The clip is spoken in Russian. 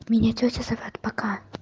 меня тётя зовёт пока